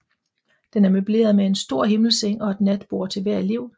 Den er møbleret med en stor himmelseng og et natbord til hver elev